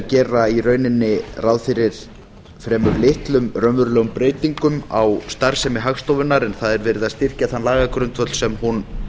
gera í rauninni ráð fyrir fremur litlum raunverulegum breytingum á starfsemi hagstofunnar en það er verið að styrkja þann lagagrundvöll sem hún